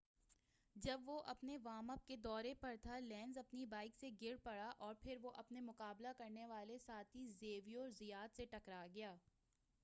جب وہ اپنے وارم اپ کے دورہ پر تھا لینز اپنی بائک سے گر پڑا اور پھر وہ اپنے مقابلہ کرنے والے ساتھی زیویر زیات سے ٹکرا گیا